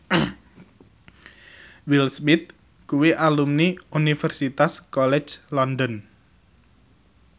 Will Smith kuwi alumni Universitas College London